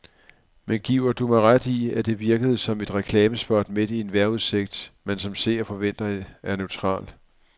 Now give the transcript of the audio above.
Men giver du mig ret i, at det virkede som et reklamespot midt i en vejrudsigt, man som seer forventer er neutral.